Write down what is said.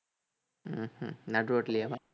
உம் ஹம் நடுரோட்டுலயேவா